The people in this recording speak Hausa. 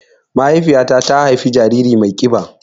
Mahaifiƴa ta ta haifa jariri mai kiɓa